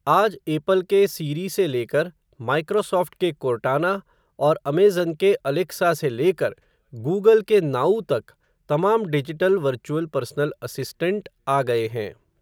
आज एपल के सीरी से लेकर, माइक्रोसॉफ़्ट के कोर्टाना, और अमेज़न के अलेक्सा से लेकर, गूगल के नाऊ तक, तमाम डिजिटल वर्चुअल पर्सनल असिस्टेंट, आ गए हैं.